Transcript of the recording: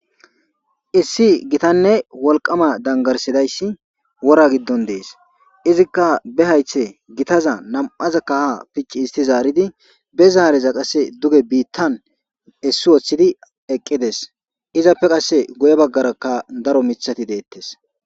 issi gitanne wolqama dangarsidayssi wora giddon dees izikka be haythe gitaza nam7azakka ha picci isti zaaridi be zaareza qasse duge biittan issi woththidi eqqides izappe qasse guye baggarakka daro mithati deettes